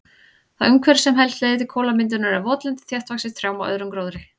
Það umhverfi sem helst leiðir til kolamyndunar er votlendi þéttvaxið trjám og öðrum gróðri.